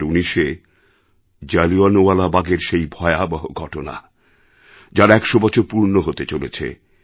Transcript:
২০১৯এ জালিয়ানওয়ালাবাগের সেই ভয়াবহ ঘটনা যার ১০০ বছর পূর্ণ হতে চলেছে